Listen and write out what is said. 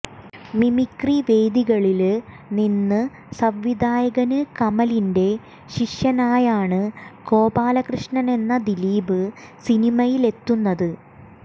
mimicry വേദികളില് നിന്ന് സംവിധായകന് കമലിന്റെ ശിഷ്യനായാണ് ഗോപാലകൃഷ്ണനെന്ന ദിലീപ് സിനിമയിലെത്തുന്നത്